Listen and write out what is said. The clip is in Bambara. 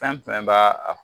Fɛn fɛn baa